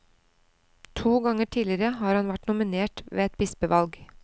To ganger tidligere har han vært nominert ved et bispevalg.